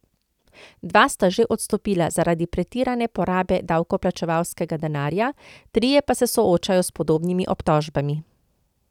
Dva sta že odstopila zaradi pretirane porabe davkoplačevalskega denarja, trije pa se soočajo s podobnimi obtožbami.